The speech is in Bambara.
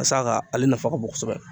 Ka s'a ka ale nafa ka bon kosɛbɛ